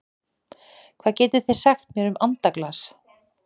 Hvað getið þið sagt mér um andaglas?